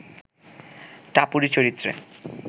টাপুরী চরিত্রে